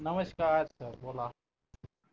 नमस्कार सर बोला